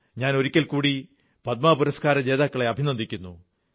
ഞാൻ ഒരിക്കൽകൂടി പദ്മ പുരസ്കാരജേതാക്കളെ അഭിനന്ദിക്കുന്നു